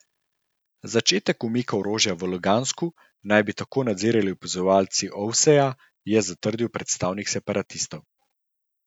Začetek umika orožja v Lugansku naj bi tako nadzirali opazovalci Ovseja, je zatrdil predstavnik separatistov.